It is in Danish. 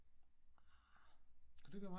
Ah